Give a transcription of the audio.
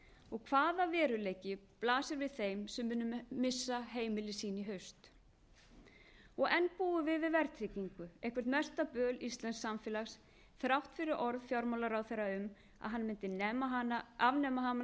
og hvaða veruleiki blasir við þeim sem munu missa heimili sín í haust og enn búum við við verðtryggingu eitthvert mesta böl íslensks samfélags þrátt fyrir orð fjármálaráðherra um að hann mundi afnema hana